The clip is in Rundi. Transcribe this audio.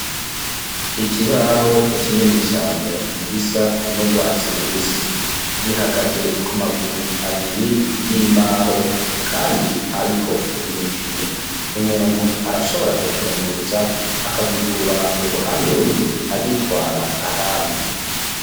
Ikibaho kinini cane gisa n'urwatsi rubisi gihagaze ku maguru abiri y'imbaho, kandi ariko imipine. Umuntu arashobora kucunguruza akagikura uruhande rumwe agitwara ahandi.